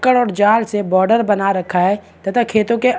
कड़क जाल से बॉर्डर बना रखा है तथा खेतो के --